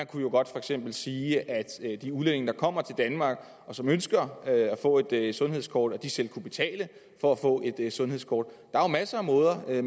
kunne jo godt for eksempel sige at de udlændinge der kommer til danmark og som ønsker at få et sundhedskort selv kunne betale for at få et sundhedskort der er masser af måder det